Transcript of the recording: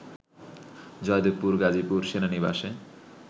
জয়দেবপুর গাজীপুর সেনানিবাসে